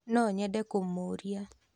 No nyende kũmũũria